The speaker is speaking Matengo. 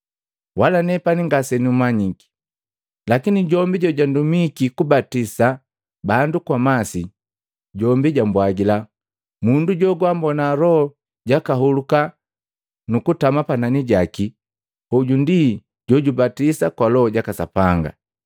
Wala nepani ngasenumanyiki, lakini jombi jojandumiki kubatisa bandu kwa masi, jombi jambwajila, ‘Mundu jowambona Loho jakahuluka nukutama panani jaki, hoju ndi jojubatisa kwa Loho jaka Sapanga.’ ”